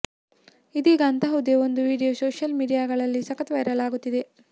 ಇದೀಗ ಅಂತಹುದೇ ಒಂದು ವಿಡಿಯೋ ಸೋಶಿಯಲ್ ಮೀಡಿಯಾಗಳಲ್ಲಿ ಸಖತ್ ವೈರಲ್ ಆಗುತ್ತಿದೆ